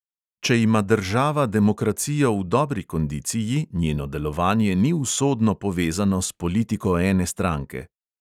Če ima država demokracijo v dobri kondiciji, njeno delovanje ni usodno povezano s politiko ene stranke.